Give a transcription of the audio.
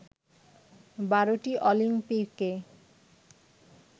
বারোটি অলিম্পিকে